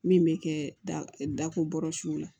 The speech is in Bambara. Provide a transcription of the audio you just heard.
Min bɛ kɛ dako bɔrɔsiw la